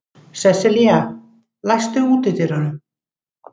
Sesselía, læstu útidyrunum.